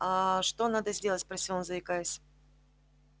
аа что надо сделать спросил он заикаясь